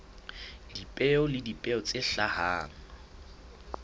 dipeo le dipeo tse hlahang